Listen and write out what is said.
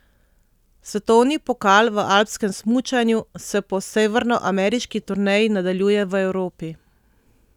Svetovni pokal v alpskem smučanju se po severnoameriški turneji nadaljuje v Evropi.